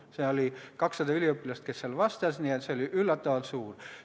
Vastajaid oli 200 üliõpilast ja nende hulgas oli huvi üllatavalt suur.